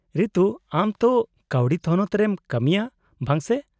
-ᱨᱤᱛᱩ, ᱟᱢ ᱛᱚ ᱠᱟᱹᱣᱰᱤ ᱛᱷᱚᱱᱚᱛ ᱨᱮᱢ ᱠᱟᱹᱢᱤᱭᱟ, ᱵᱟᱝ ᱥᱮ ?